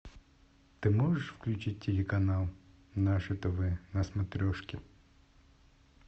ты можешь включить телеканал наше тв на смотрешке